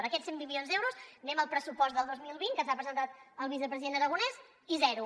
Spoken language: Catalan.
d’aquests cent i vint milions d’euros anem al pressupost del dos mil vint que ens ha presentat el vicepresident aragonès i zero